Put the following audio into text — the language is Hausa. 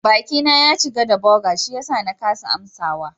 Bakina ya cika da burger shiyasa na kasa amsawa.